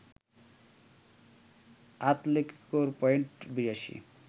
আতলেতিকোর point ৮২